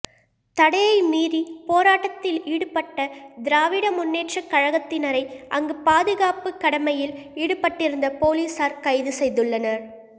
தடையை மீறி போராட்டத்தில் ஈடுபட்ட திராவிட முன்னேற்றக் கழகத்தினரை அங்கு பாதுகாப்புக் கடமையில் ஈடுபட்டிருந்த பொலிஸார் கைது செய்துள்ளனர்